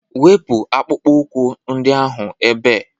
Wepu akpụkpọ ụkwụ ndị ahụ ebe.!